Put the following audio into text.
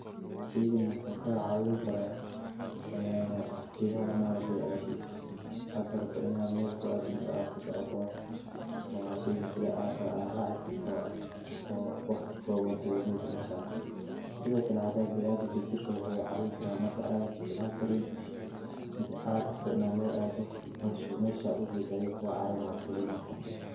Shaygan waxuu ka caawin kara ee hadii ma aragte aad rabto ina mel ku aada mise aad kusocota waa shayga kali aad raci karto oo waqti kooban kugu gayn karo meshad rabto. Sidokale hada binaadanka jirka waxuu cawin kara marka aad socon karin mise aad rabto ina mel aado mesha u jeda ayu kugu caawinaya oo fuli marka.